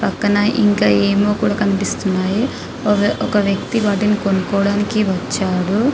పక్కన ఇంకా ఏమో కూడా కనిపిస్తున్నాయి ఒక వ్యక్తి వాటిని కొనుకోవడానికి వచ్చాడు --